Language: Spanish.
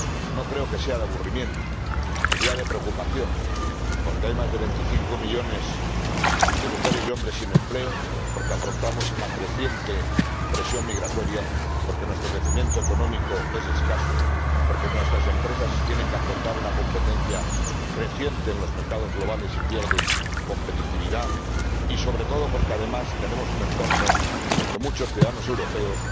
No creo que sea de aburrimiento, sino de preocupación, porque hay más de veinticinco millones de mujeres y hombres sin empleo, porque afrontamos una creciente presión migratoria, porque nuestro crecimiento económico es escaso, porque nuestras empresas tienen que afrontar una competencia creciente en los mercados globales y pierden competitividad, y sobre todo porque, además, tenemos un entorno en el que muchos ciudadanos europeos